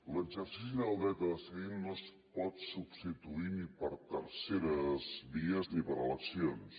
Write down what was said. l’exercici del dret a decidir no es pot substituir ni per terceres vies ni per eleccions